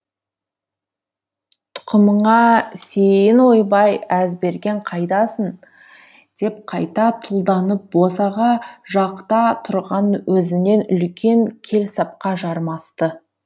тұқымыңа сиейін ойбай әзберген қайдасың деп қайта тұлданып босаға жақта тұрған өзінен үлкен келсапқа жармасты